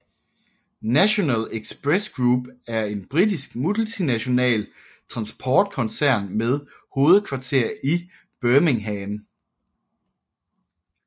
National Express Group er en britisk multinational transportkoncern med hovedkvarter i Birmingham